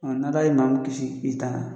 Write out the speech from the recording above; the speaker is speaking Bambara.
A n'Ala ye maa min kisi i taara